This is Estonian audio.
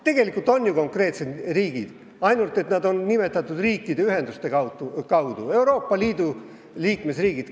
Tegelikult on ju konkreetsed riigid, ainult et nad on nimetatud riikide ühenduse kaudu: Euroopa Liidu liikmesriigid.